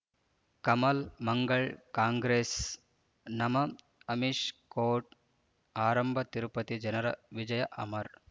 Kamal Mangal Congress ನಮ್ಮ್ Amish court ಆರಂಭ ತಿರುಪತಿ ಜನರ ವಿಜಯ ಅಮರ್